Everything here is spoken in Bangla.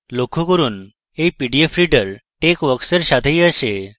লক্ষ্য করুন এই pdf reader texworksএর সাথেই আসে